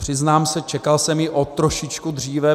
Přiznám se, čekal jsem ji o trošičku dříve.